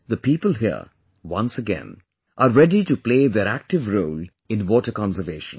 The people here, once again, are ready to play their active role in water conservation